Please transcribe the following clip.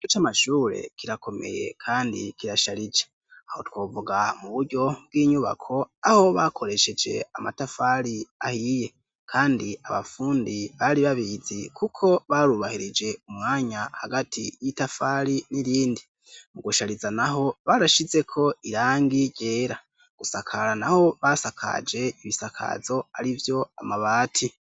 Ikigo c'amashure kirakomeye kandi kirasharije, aho twovuga mu buryo bw'inyubako aho bakoresheje amatafari ,ahiye kandi abafundi bari babizi kuko barubahirije umwanya hagati y'itafari n'irindi , mu gushariza naho barashizeko irangi ryera gusakara naho basakaje ibisakazo arivyo amabati